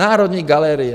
Národní galerie.